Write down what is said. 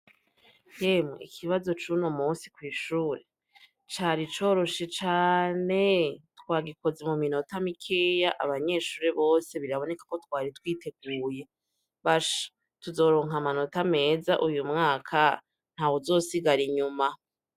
Yemwe ikibazo c'unu musi kw'ishure cari coroshe cane twagikozi mu minota mikeya abanyeshure bose biraboneka ko twari twiteguye basha tuzoronka amanota meza uyu mwaka nta wuzosigara inyuma.